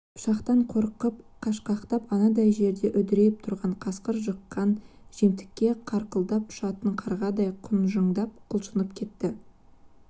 пышақтан қорқып қашқақтап анандай жерде үдірейіп тұрған қасқыр жыққан жемтікке қарқылдап ұшатын қарғадай құнжыңдап құлшынып кетті